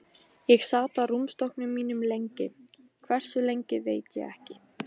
Ég sat á rúmstokknum mínum lengi, hversu lengi veit ég ekki.